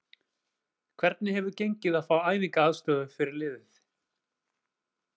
Hvernig hefur gengið að fá æfingaaðstöðu fyrir liðið?